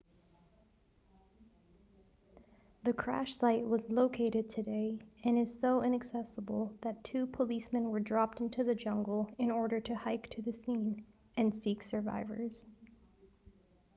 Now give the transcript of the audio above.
the crash site was located today and is so inaccessable that two policemen were dropped into the jungle in order to hike to the scene and seek survivors